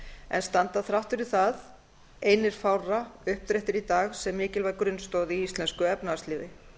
en standa þrátt fyrir það einir fárra uppréttir í dag sem mikilvæg grunnstoð í íslensku efnahagslífi